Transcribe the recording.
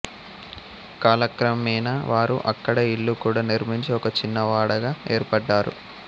కాలక్రమేణా వారు అక్కడే ఇల్లు కూడా నిర్మించి ఒక చిన్నవాడగా ఏర్పడ్డారు